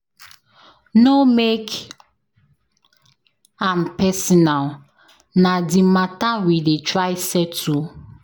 No make am personal, na di mata we dey try settle.